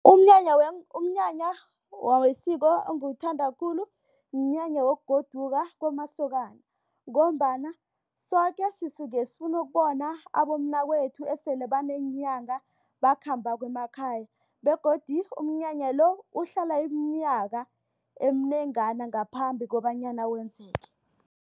Umnyanya umnyanya wesiko engiwuthanda khulu mnyanya wokugoduka kwamasokana. Ngombana soke sisuke sifuna ukubona abomnakwethu esele baneenyanga bakhambako emakhaya begodu umnyanya lo uhlala iminyaka eminengana ngaphambi kobanyana wenzeke.